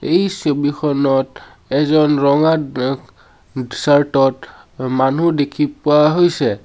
এই ছবিখনত এজন ৰঙা অ চাৰ্ট ত মানুহ দেখি পোৱা হৈছে।